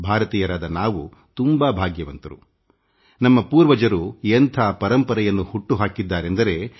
ಭಾರತೀಯರಾದ ನಾವು ಎಷ್ಟು ಅದೃಷ್ಟವಂತರೆಂದರೆ ನಮ್ಮ ಪೂರ್ವಜರು ಎಂಥ ಪರಂಪರೆಯನ್ನು ಸೃಷ್ಟಿಸಿದ್ದಾರೆಂದರೆ